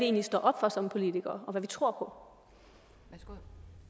er vi står op for som politikere og hvad vi tror på